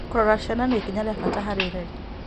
Gũcirora ciana nĩ ikinya rĩa bata harĩ ũreri.